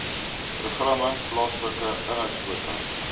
programme plaaslike inhoudkwotas